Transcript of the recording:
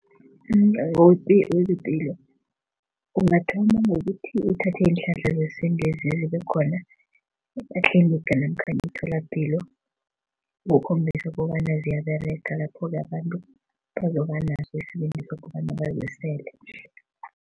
UmNyango wezePilo ungathoma ngokuthi uthathe iinhlahla zesintwezi ezikhona ematliniga namkha emitholapilo ukukhombisa kobana ziyaberega. Lapho-ke abantu bazobanaso isibindi sokobana bazisele.